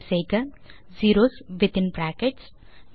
type செய்க zeros within brackets